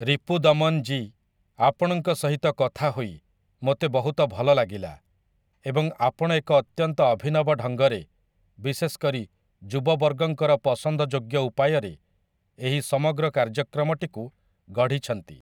ରିପୁଦମନ୍ ଜୀ, ଆପଣଙ୍କ ସହିତ କଥାହୋଇ ମୋତେ ବହୁତ ଭଲ ଲାଗିଲା ଏବଂ ଆପଣ ଏକ ଅତ୍ୟନ୍ତ ଅଭିନବ ଢଙ୍ଗରେ, ବିଶେଷକରି ଯୁବବର୍ଗଙ୍କର ପସନ୍ଦଯୋଗ୍ୟ ଉପାୟରେ ଏହି ସମଗ୍ର କାର୍ଯ୍ୟକ୍ରମଟିକୁ ଗଢ଼ିଛନ୍ତି ।